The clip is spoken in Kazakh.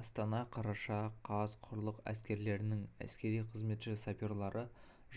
астана қараша қаз құрлық әскерлерінің әскери қызметші саперлары